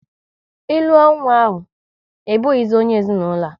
Ịlụ ọ nwa ahụ, ị bụghịzi onye ezinaụlọ a!